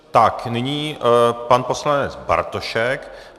Tak nyní pan poslanec Bartošek.